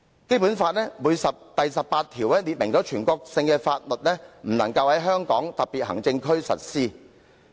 《基本法》第十八條訂明，全國性的法例不能在香港特別行政區實施。